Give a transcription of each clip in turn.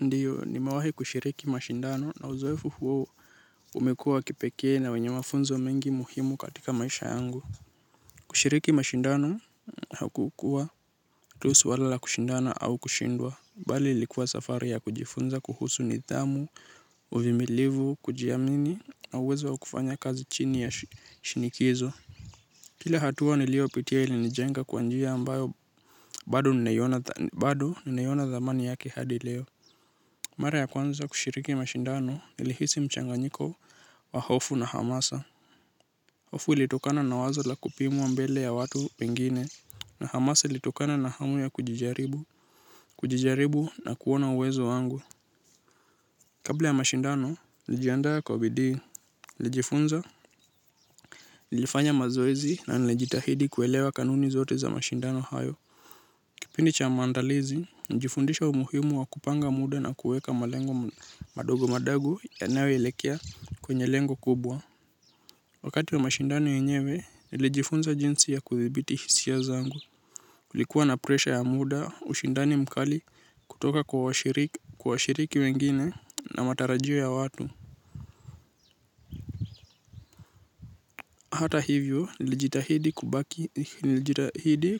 Ndiyo, nimewahi kushiriki mashindano, na uzoefu huu umekuwa wa kipekee na mwenye mafunzo muhimu katika maisha yangu. Kushiriki mashindano haukukua tu swala la kushindana au kushindwa. Bali ilikuwa safari ya kujifunza kuhusu nidhamu, uvumilivu, kujiamini na uwezo wa kufanya kazi chini ya shinikizo. Kila hatua niliyopitia ilinijenga kwa njia ambayo bado ninaona thamani yake hadi leo. Mara ya kwanza kushiriki mashindano nilihisi mchanganyiko wa hofu na hamasa. Hofu ilitokana na wazo la kupimwa mbele ya watu wengine, na hamasa ilitokana na hamu ya kujijaribu, kujijaribu na kuona uwezo wangu. Kabla ya mashindano nijiandaa kwa bidii. Nilijifunza. Nilifanya mazoezi na nilijitahidi kuelewa kanuni zote za mashindano hayo. Kipindi cha maandalizi nilijifunza umuhimu wa kupanga muda na kuweka malengo madogo madogo yanayoelekea kwenye lengo kubwa. Wakati wa mashindano yenyewe, nilijifunza jinsi ya kudhibiti hisia zangu. Kulikuwa na presha ya muda, ushindani mkali kutoka kwa washiriki wengine na matarajio ya watu. Hata hivyo, nilijitahidi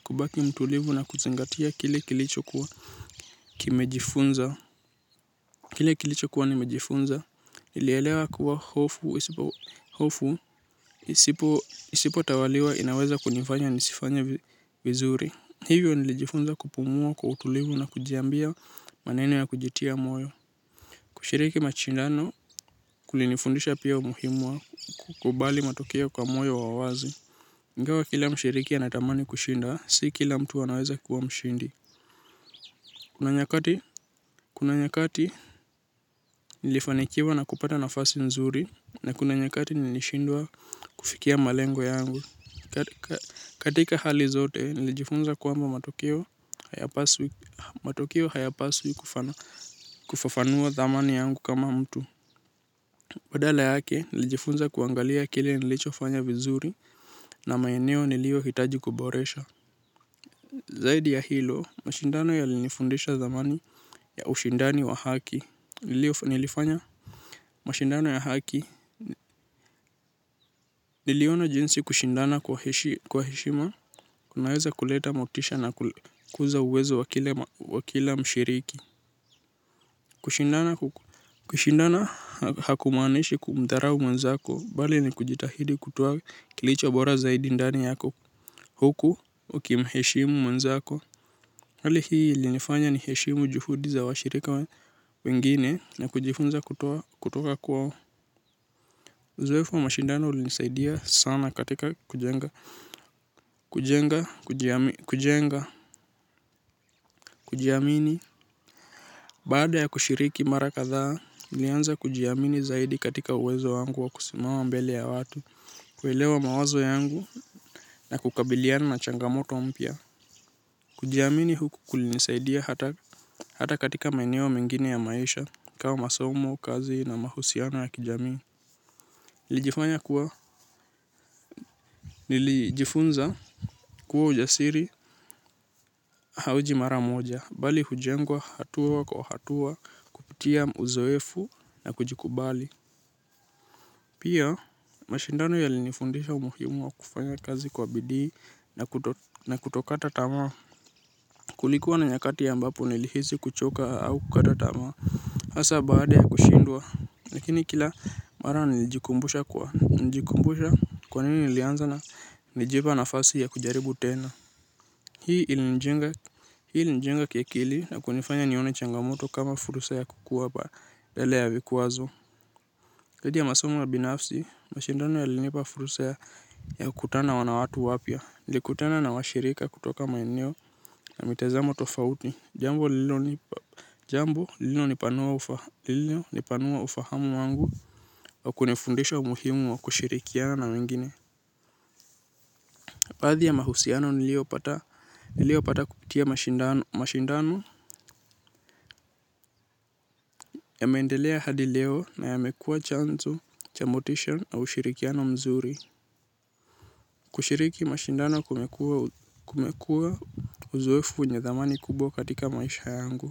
kubaki mtulivu na kuzingatia kile kilichokuwa kimejifunza. Kile kilicho kuwa nimejifunza. Nilielewa kuwa hofu isipo isipo tawaliwa inaweza kunifanya nisifanye vizuri. Hivyo nilijifunza kupumua kwa utulivu na kujiambia maneno ya kujitia moyo. Kushiriki mashindano kulinifundisha pia umuhimu wa kukubali matokeo kwa moyo wa wazi. Ingawa kila mshiriki anatamani kushinda, si kila mtu anaweza kuwa mshindi. Kuna nyakati nilifanikiva na kupata nafasi nzuri. Na kuna nyakati nilishindwa kufikia malengo yangu. Katika hali zote nilijifunza kwamba matokeo hayapaswi matokeo hayapaswi kufafanua dhamani yangu kama mtu badala yake nilijifunza kuangalia kile nilichofanya vizuri na mayeneo niliohitaji kuboresha. Zaidi ya hilo mashindano yalinifundisha dhamani ya ushindani wa haki nilifanya mashindano ya haki. Niliona jinsi kushindana kwa heshima kunaweza kuleta motisha na kukuza uwezo wa kila mshiriki. Kushindana hakumaanishi kumdharau mwenzako. Bali ni kujitahidi kutoa kilicho bora zaidi ndani yako huku ukimheshimu mwenzako. Hali hii ilinifanya niheshimu juhudi za washirika wengine na kujifunza kutoka kwao. Uzoefu wa mashindano ulinisaidia sana katika kujenga kujiamini. Baada ya kushiriki mara kathaa, nilianza kujiamini zaidi katika uwezo wangu wa kusimama mbele ya watu, kuelewa mawazo yangu na kukabiliana na changamoto mpya. Kujiamini huku kulinisaidia hata katika maeneo mengine ya maisha, kama masomo, kazi na mahusiano ya kijamii. Nilijifanya kuwa nilijifunza kuwa ujasiri hauji mara moja, bali hujengwa hatua kwa hatua, kupitia uzoefu na kujikubali. Pia mashindano yalinifundisha umuhimu wa kufanya kazi kwa bidii na kutokata tamaa. Kulikuwa na nyakati ambazo nilihisi kuchoka au kukata tamaa. Hasa baada ya kushindwa. Lakini kila mara nilijikumbusha kwa nini nilianza na nilijipa nafasi ya kujaribu tena. Hii ilinijenga kiakili na kunifanya nione changamoto kama fursa ya kukua badala ya vikwazo. Zaidi ya masomo ya binafsi mashindano yalinipa fursa ya kukutana na watu wapya. Nilikutana na washirika kutoka maeneo na mitazama tofauti. Jambo lilonipanua ufahamu wangu na kunifundisha umuhimu wa kushirikiana na wengine. Baadhi ya mahusiano niliopata kupitia mashindano yameendelea hadi leo na yamekua chanzo cha motisha na ushirikiano mzuri. Kushiriki mashindano kumekuwa uzoefu wenye dhamani kubwa katika maisha yangu.